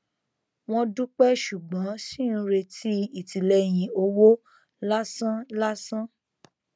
wọn dúpẹ ṣùgbọn ṣì ń retí ìtìlẹyìn owó lásán lásán